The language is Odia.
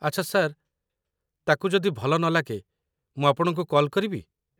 ଆଚ୍ଛା ସାର୍, ତାକୁ ଯଦି ଭଲ ନଲାଗେ, ମୁଁ ଆପଣଙ୍କୁ କଲ୍ କରିବି